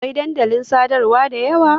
Akwai dandalin sadarwa da yawa.